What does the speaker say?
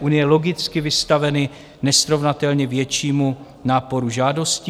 unie logicky vystaveny nesrovnatelně většímu náporu žádostí.